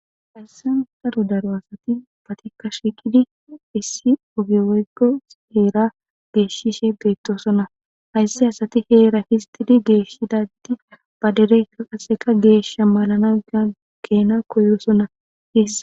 hayssan saro daro asati batikka shiiqidi issi ogiweygo heera geeshishe beettoosona haysse asati heera histidi geeshidadi ba dereykka qasseka geesha malana ageena koyoosona heessa